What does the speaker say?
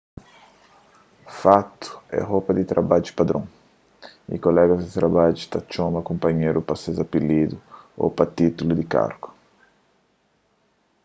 fatu é ropa di trabadju padron y kolegas di trabadju ta txoma kunpanheru pa ses apilidu ô pa títullu di kargus